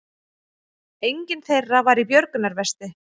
Enginn þeirra var í björgunarvesti